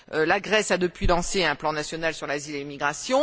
La Grèce a depuis lancé un plan national sur l'asile et l'immigration.